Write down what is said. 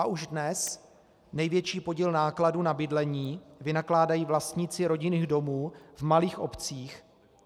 A už dnes největší podíl nákladů na bydlení vynakládají vlastníci rodinných domů v malých obcích.